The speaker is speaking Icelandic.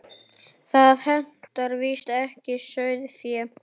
Það hentar víst ekki sauðfé.